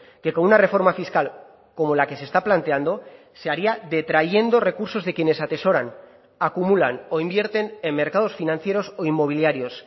que con una reforma fiscal como la que se está planteando se haría detrayendo recursos de quienes atesoran acumulan o invierten en mercados financieros o inmobiliarios